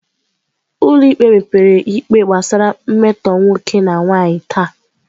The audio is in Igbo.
Ụlọ ikpe mepere ikpe gbasara mmetọ nwoke na nwanyị taa.